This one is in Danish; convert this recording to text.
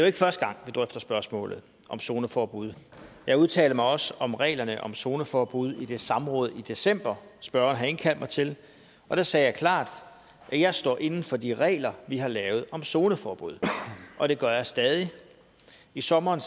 ikke første gang vi drøfter spørgsmålet om zoneforbud jeg udtalte mig også om reglerne om zoneforbud i det samråd i december spørgeren havde indkaldt mig til og der sagde jeg klart at jeg står inde for de regler vi har lavet om zoneforbud og det gør jeg stadig i sommeren